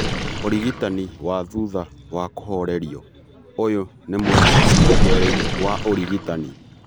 ũrigitani wa thutha wa kũhoorerio:ũyũ nĩ mwena wa kerĩ wa ũrigitani.